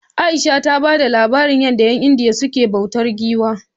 Aisha ta bada labarin yadda 'yan indiya suke bautar giwa